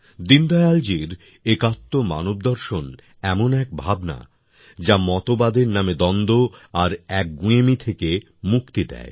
দীনদয়ালজীর একাত্ম মানবদর্শন এমন এক ভাবনা যা মতবাদের নামে দ্বন্দ্ব আর একগুঁয়েমি থেকে মুক্তি দেয়